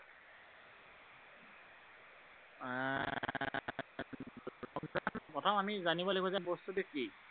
প্ৰথম আমি জানিব লাগিব যে বস্তুটো কি।